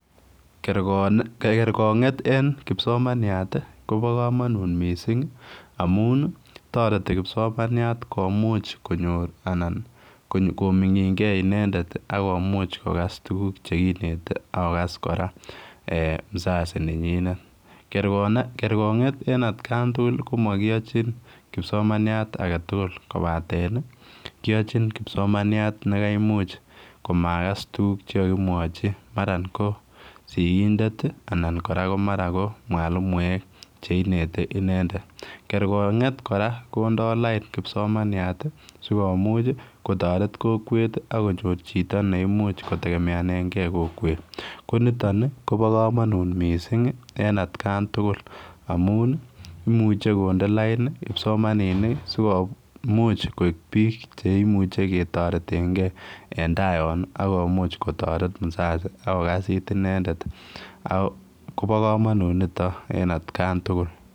Kerko kerkonget en kipsomaniat tii Kobo komonut missing amun toreti kipsomaniat komuch konyor anan ko komingingee inendet ak komuch kokas tukuk chekinete ak kokas Koraa en [ca]mzazi nenyinet. Kerkonget en atkan tukuk komokiyochi kipsomaniat agetukul kopaten niimkiyochi kipsomaniat nekaimuch komakas tukuk chekokimwochi mara ko sikindet tii ana ko mara ko mwalimuek cheinete inendet kerkonget Koraa kondo laini kipsomaniat tii sikomuch kotoret kokwet tii ak konyor chito neimuch kotekemengee kokwet, ko niton nii Kobo komonut missing en atkan tukuk amun imuche konde laini kipsomaninik kii sikomuch koik bik cheimuche ketoretengee en taa yonii ak komuch kotoret musazi ak kokas it inendet ak Kobo komonut niton en atkan tukuk.